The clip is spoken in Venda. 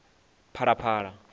phalaphala